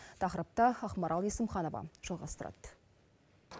тақырыпты ақмарал есімханова жалғастырады